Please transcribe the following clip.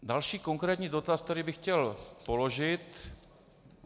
Další konkrétní dotaz, který bych chtěl položit.